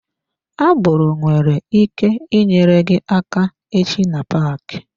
Agboro nwere ike nyere gị aka echi na paaki.